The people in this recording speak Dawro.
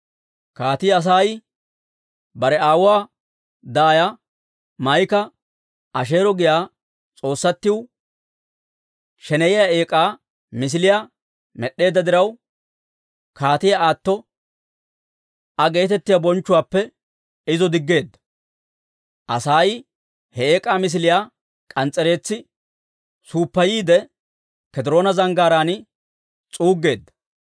Kaatii Asay bare aawuwaa daaya Maa'ika Asheero giyaa s'oossatiw sheneyiyaa eek'aa misiliyaa med'd'eedda diraw, Kaatiyaa Aatto Aa geetettiyaa bonchchuwaappe izo diggeedda. Asay he eek'aa misiliyaa k'ans's'ereetsi suuppayiide, K'ediroona Zanggaaraan s'uuggeedda.